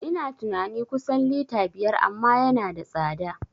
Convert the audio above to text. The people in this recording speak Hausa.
Ina tunani kusan lita biyar amma yana da tsada